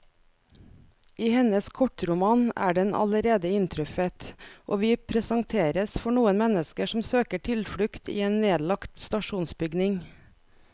I hennes kortroman er den allerede inntruffet, og vi presenteres for noen mennesker som søker tilflukt i en nedlagt stasjonsbygning.